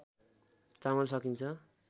चामल सकिन्छ